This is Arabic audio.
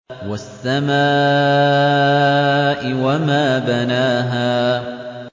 وَالسَّمَاءِ وَمَا بَنَاهَا